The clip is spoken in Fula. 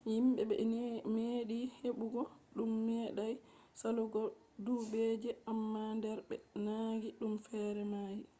himbe be medi hebugo dum medai salugo dubbuje amma der be nangi dum fere mayi